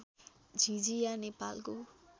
झिझिया नेपालको